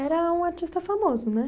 Era um artista famoso, né?